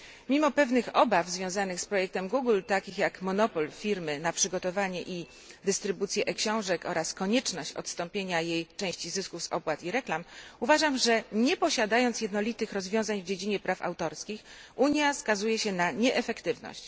Mimo pewnych obaw związanych z projektem Google, takich jak monopol firmy na przygotowanie i dystrybucję e książek oraz konieczność odstąpienia jej części zysków z opłat i reklam, uważam, że nie posiadając jednolitych rozwiązań w dziedzinie praw autorskich Unia skazuje się na nieefektywność.